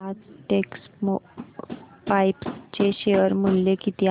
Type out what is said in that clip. आज टेक्स्मोपाइप्स चे शेअर मूल्य किती आहे